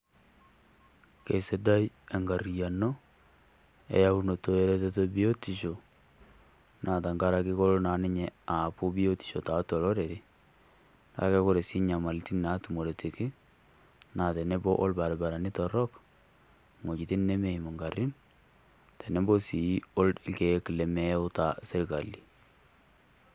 Kesidai enkariyiano, eyaunoto eretoto ebiotisho, naa tenkaraki kelo naa ninye aaku biotisho tiatua olorere, kake ore naa enyamalitin naatumoretiki naa tenebo olbarabarani torrok, ewuejitin nemeim inkarrin otenebo naa orkiek lemeata sirkali.